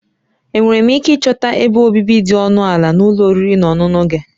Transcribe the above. Enwere m ike ịchọta ebe obibi dị ọnụ ala na ụlọ oriri na ọṅụṅụ gị?